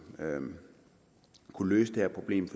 kunne løse det her problem